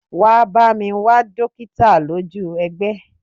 Wá bá mi wá dokita lójú egbé!